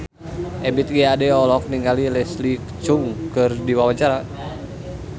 Ebith G. Ade olohok ningali Leslie Cheung keur diwawancara